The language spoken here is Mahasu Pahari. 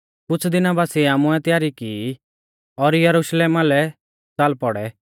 कुछ़ दिना बासिऐ आमुऐ तयारी की और यरुशलेमा लै च़ाल पौड़ै